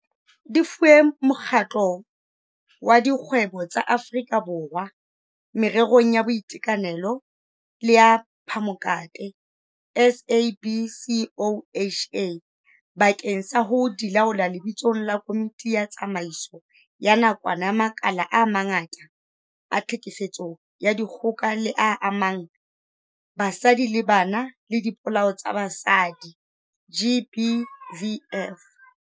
Di fuwe Mokgatlo wa Dikgwebo tsa Aforika Borwa Mererong ya Boitekanelo le ya Phamokate, SABCOHA, bakeng sa ho di laola lebitsong la Komiti ya Tsamaiso ya Nakwana ya makala a mangata a tlhekefetso ya dikgoka e amang basadi le bana le dipolao tsa basadi, GBVF.